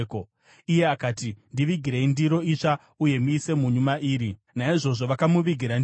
Iye akati, “Ndivigirei ndiro itsva uye muise munyu mairi.” Naizvozvo vakamuvigira ndiro yacho.